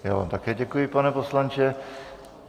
Já vám také děkuji, pane poslanče.